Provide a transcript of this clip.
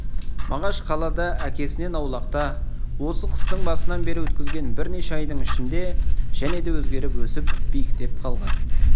мағаш қалада әкесінен аулақта осы қыстың басынан бері өткізген бірнеше айдың ішінде және де өзгеріп өсіп биіктеп қалған